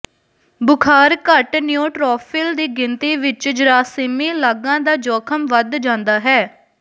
ਬੁਖ਼ਾਰ ਘੱਟ ਨਿਓਟ੍ਰੋਫਿਲ ਦੀ ਗਿਣਤੀ ਵਿੱਚ ਜਰਾਸੀਮੀ ਲਾਗਾਂ ਦਾ ਜੋਖਮ ਵਧ ਜਾਂਦਾ ਹੈ